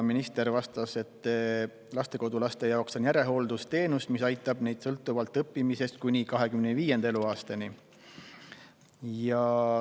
Minister vastas, et lastekodulaste jaoks on järelhooldusteenus, mis aitab neid sõltuvalt õppimisest kuni 25. eluaastani.